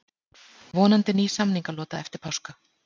Vonandi ný samningalota eftir páska